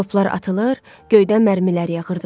Toplar atılır, göydən mərmilər yağırdı.